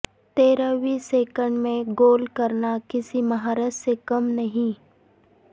تیرہویں سیکنڈ میں گول کرنا کسی مہارت سے کم نہیں